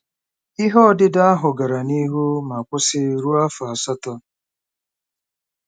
Ihe ọdịdọ ahụ gara n'ihu ma kwụsị ruo afọ asatọ.